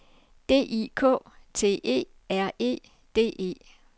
D I K T E R E D E